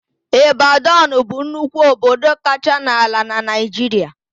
Ịbadọn bụ nnukwu obodo kacha n'ala na Naịjiria.